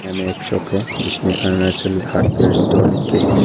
में एक शॉप है जिसमें अरुणाचल हार्डवेयर स्टोर लिख के है।